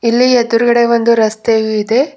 ಇಲ್ಲಿ ಎದುರುಗಡೆ ಒಂದು ರಸ್ತೆಯು ಇದೆ.